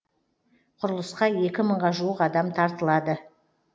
құрылысқа екі мыңға жуық адам тартылады